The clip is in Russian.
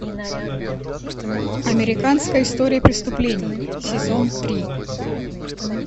американская история преступлений сезон три